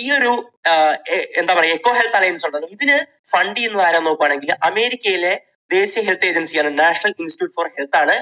ഈയൊരു എന്ത് ~ എന്താ പറയുക, എക്കോ ഹെൽത്ത് അലയൻസ് ഉണ്ടല്ലോ. ഇതിന് fund ചെയ്യുന്നത് ആരാണെന്ന് നോക്കുകയാണെങ്കിൽ അമേരിക്കയിലെ ദേശീയ ഹെൽത്ത് ഏജൻസി ആണ് നാഷണൽ ഇൻസ്റ്റിറ്റ്യൂട്ട് ഫോർ ഹെൽത്ത് ആണ്